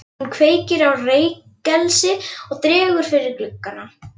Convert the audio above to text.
Hún kveikir á reykelsi og dregur fyrir gluggana.